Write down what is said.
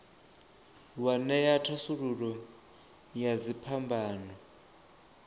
wa ṅea thasululo ya dziphambano